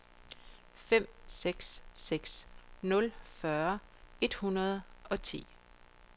fem seks seks nul fyrre et hundrede og ti